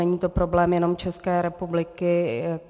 Není to problém jenom České republiky.